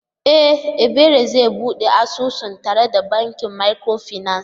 E! Ebere zai bude asusu tare da bankin micro finance.